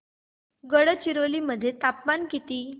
गडचिरोली मध्ये तापमान किती